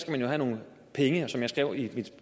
man jo have nogle penge og som jeg skrev i